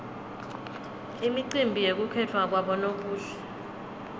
imicimbi yekukhetfwa kwabonobuhle